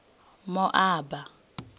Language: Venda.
moaba